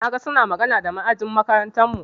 Na ga suna magana da ma'ajin makarantarmu.